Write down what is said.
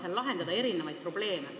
Nemad saavad seal neid probleeme lahendada.